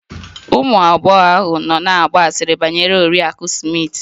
Ụmụ agbọghọ ahụ nọ na-agba asịrị banyere Oriakụ Smith